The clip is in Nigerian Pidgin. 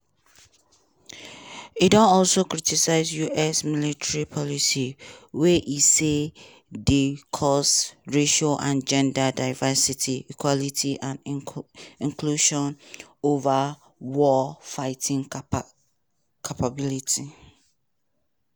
e don also criticise us military policies wey e say dey cause racial and gender diversity equity and inclusion ova war-fighting capability.